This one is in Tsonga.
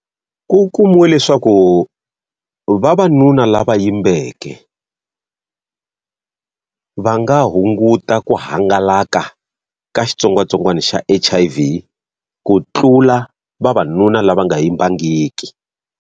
Ku kumiwe leswaku vavanuna lava yimbeke va nga hunguta ku hangalaka ka xitsongwatsongwana xa H_I_V ku tlula vavanuna lava nga yimbangiki.